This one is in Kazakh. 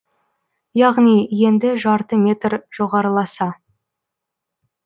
яғни енді жарты метр жоғарыласа